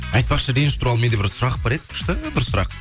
айтпақшы реніш туралы менде бір сұрақ бар еді күшті бір сұрақ